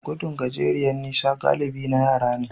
Gudun gajeriyar nisa galibi na yara ne.